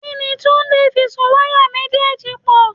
Kíni Túndé fi so wáyà méjèèjì pò?